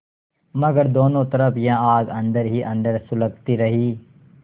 मगर दोनों तरफ यह आग अन्दर ही अन्दर सुलगती रही